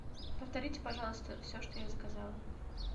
повторите пожалуйста все что я заказала